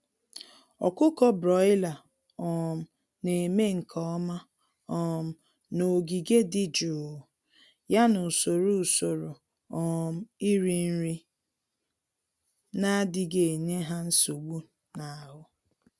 Ọkụkọ broiler um némè' nke ọma um n'ogige dị jụụ, ya na usoro usoro um iri nri n'adịghị enye ha nsogbu n'ahụ